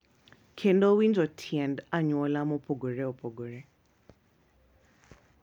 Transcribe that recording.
Kendo winjo tiend anyuola mopogore opogore,